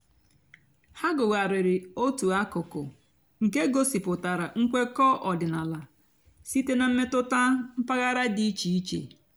há gụ́ghàrị́rị́ ótú àkụ́kụ́ nkè gosìpụ́tárá ǹkwékọ̀ ọ̀dị́náàlà sìté nà m̀mètụ́tà m̀pàghàrà dị́ ìchè ìchè.